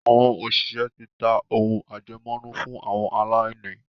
àwọn òṣìṣẹ́ ti ta “ ohun àjẹmọ́nú fún àwọn aláìní ”.